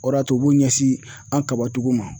O de y'a to u b'u ɲɛsin an ka kabatigiw ma